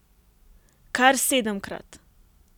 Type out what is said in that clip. Kar sedemkrat.